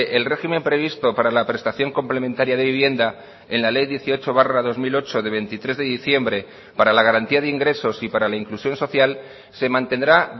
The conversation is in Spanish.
el régimen previsto para la prestación complementaria de vivienda en la ley dieciocho barra dos mil ocho de veintitrés de diciembre para la garantía de ingresos y para la inclusión social se mantendrá